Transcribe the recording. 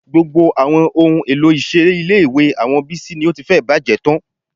Gbogbo àwọn ohun èlò ìṣeré ilé-ìwé àwọn Bísí ni ó ti fẹ́ẹ̀ bàjẹ́ tán